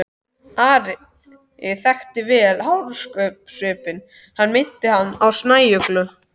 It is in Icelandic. Ari þekkti vel hörkusvipinn, hann minnti hann á snæuglu.